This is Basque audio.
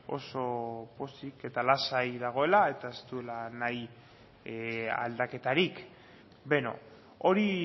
oso pozik eta lasai dagoela eta ez duela nahi aldaketarik beno hori